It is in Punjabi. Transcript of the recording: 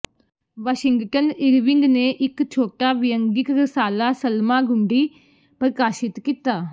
ਵਾਸ਼ਿੰਗਟਨ ਇਰਵਿੰਗ ਨੇ ਇਕ ਛੋਟਾ ਵਿਅੰਗਿਕ ਰਸਾਲਾ ਸਲਮਾਗੁੰਡੀ ਪ੍ਰਕਾਸ਼ਿਤ ਕੀਤਾ